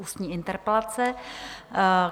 Ústní interpelace